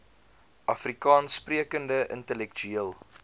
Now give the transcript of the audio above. afrikaans sprekende intellektueel